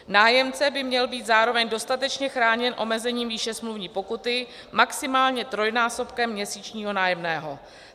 Nájemce by měl být zároveň dostatečně chráněn omezením výše smluvní pokuty, maximálně trojnásobkem měsíčního nájemného.